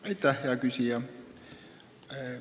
Aitäh, hea küsija!